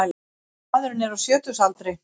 Maðurinn er á sjötugsaldri